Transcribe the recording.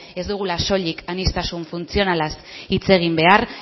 ez dugula soilik aniztasun funtzionalaz hitz egin behar